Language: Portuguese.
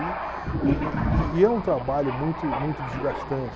E e e e é um trabalho muito muito desgastante.